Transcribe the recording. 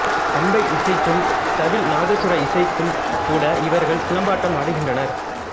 பம்பை இசைக்கும் தவில் நாதசுர இசைக்கும் கூட இவர்கள் சிலம்பாட்டம் ஆடுகின்றனர்